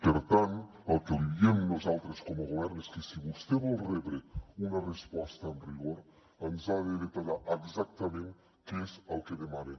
per tant el que li diem nosaltres com a govern és que si vostè vol rebre una resposta amb rigor ens ha de detallar exactament què és el que demana